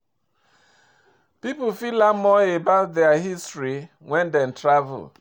Pipo fit learn more about their history when dem travel